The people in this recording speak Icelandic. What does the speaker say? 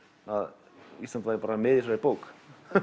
að Ísland væri með í þessari bók